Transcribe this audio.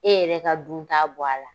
E yɛrɛ ka dun ta bɔ a la.